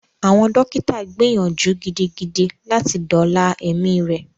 Àwọn dókítà gbìyànjú gidigidi láti dóòla ẹmí rẹ.